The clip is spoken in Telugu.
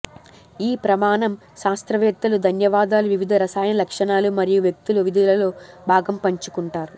ఈ ప్రమాణం శాస్త్రవేత్తలు ధన్యవాదాలు వివిధ రసాయన లక్షణాలు మరియు వ్యక్తులు విధులలో భాగం పంచుకుంటారు